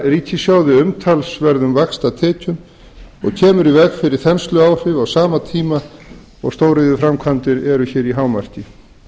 ríkissjóði umtalsverðum vaxtatekjum og kemur í veg fyrir þensluáhrif á sama tíma og stóriðjuframkvæmdirnar eru í hámarki